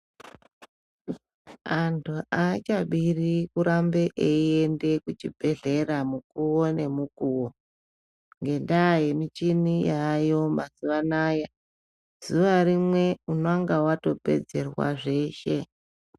Antu aachabiri kuramba echienda kuchibhedhlera mukuwo ngemukuwo ngendaa yemichini yaayo mazuva anaya, zuva rimwe unenge watopedzerwa zveeshe.